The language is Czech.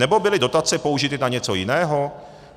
Nebo byly dotace použity na něco jiného?